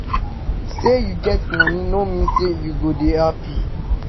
Sey you get money no mean sey you go dey happy